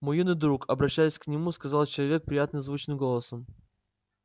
мой юный друг обращаясь к нему сказал человек приятно звучным голосом